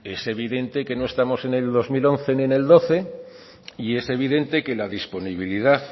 es evidente que no estamos en el dos mil once ni el dos mil doce y es evidente que la disponibilidad